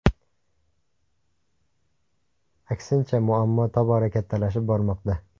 Aksincha, muammo tobora kattalashib bormoqda.